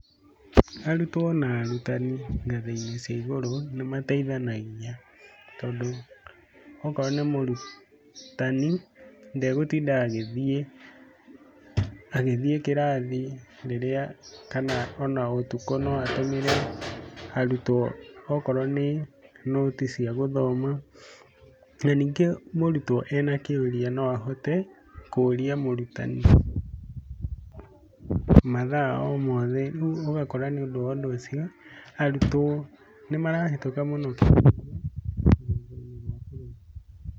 Arutwo na arutani ngathĩ-inĩ cia igũrũ nĩ mateithanagia tondũ okorwo nĩ mũrutani ndagũtinda agĩthiĩ kĩrathi rĩrĩa kana o na ũtukũ no atũmĩre arutwo okorwo nĩ nũti cia gũthoma, na ningĩ mũrutwo ena kĩũria no ahote kũria mũrutani mathaa o mothe rĩu ũgakora nĩ ũndũ wa ũndũ ũcio arutwo nĩ marahĩtũka mũno kĩgerio rũgongo-inĩ rwa bũrũri.